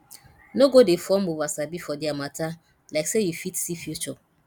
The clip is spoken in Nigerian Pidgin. no go dey form oversabi for dia mata like say yu fit see future